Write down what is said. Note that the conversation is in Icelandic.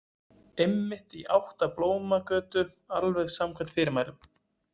Einmitt, í átt að Blómagötu, alveg samkvæmt fyrirmælum.